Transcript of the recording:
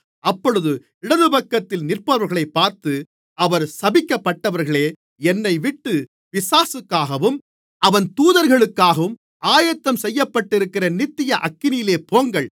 அப்பொழுது இடதுபக்கத்தில் நிற்பவர்களைப் பார்த்து அவர் சபிக்கப்பட்டவர்களே என்னைவிட்டு பிசாசுக்காகவும் அவன் தூதர்களுக்காகவும் ஆயத்தம் செய்யப்பட்டிருக்கிற நித்திய அக்கினியிலே போங்கள்